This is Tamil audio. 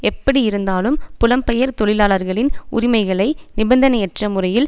எப்படி இருந்தாலும் புலம்பெயர் தொழிலாளர்களின் உரிமைகளை நிபந்தனையற்ற முறையில்